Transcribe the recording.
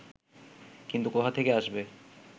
কিন্তু কোথা থেকে আসবে